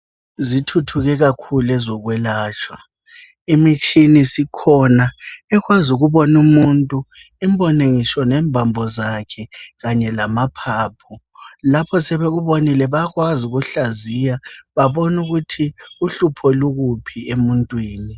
Zithuthuke kakhulu ezokwelatshwa. Imitshini sikhona ekwazi ukubona umuntu, imbone ngitsho imbambo zakhe kanye lamaphaphu. Lapho sebekubonile bayakwazi ukukuhlaziya babone ukuthi uhlupho lukuphi emuntwini.